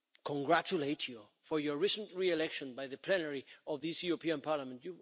congratulate you for your recent re election by the plenary of this European Parliament.